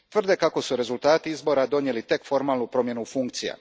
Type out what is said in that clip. Tvrde kako su rezultati izbora donijeli tek formalnu promjenu funkcija.